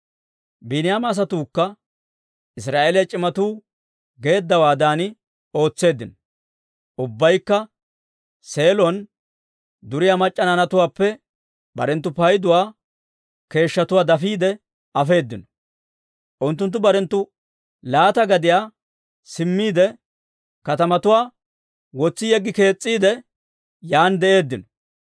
Biiniyaama asatuukka Israa'eeliyaa c'imatuu geeddawaadan ootseeddino; ubbaykka Seelon duriyaa mac'c'a naanatuwaappe barenttu payduwaa keeshshatuwaa dafiide afeedino. Unttunttu barenttu laata gadiyaa simmiide, katamatuwaa wotsi yeggi kees's'iide, yaan de'eeddino.